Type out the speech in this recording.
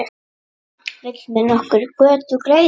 Vill mér nokkur götu greiða?